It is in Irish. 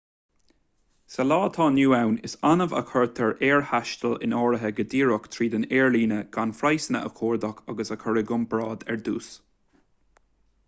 sa lá atá inniu ann is annamh a chuirtear aerthaisteal in áirithe go díreach tríd an aerlíne gan praghsanna a chuardach agus a chur i gcomparáid ar dtús